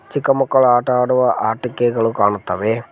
ಚಿಕ್ಕ ಮಕ್ಕಳು ಆಟ ಆಡುವ ಆಟಿಕೆಗಳು ಕಾಣುತ್ತವೆ.